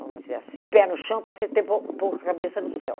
vamos dizer assim, pé no chão, passei a ter po pouca cabeça no céu.